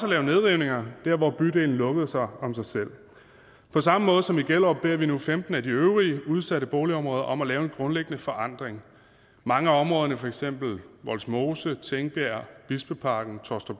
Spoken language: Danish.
at lave nedrivninger dér hvor bydelen lukkede sig om sig selv på samme måde som i gellerup beder vi nu femten af de øvrige udsatte boligområder om at lave en grundlæggende forandring i mange af områderne for eksempel vollsmose tingbjerg bispeparken